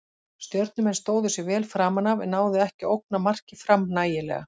Stjörnumenn stóðu sig vel framan af en náðu ekki að ógna marki Fram nægilega.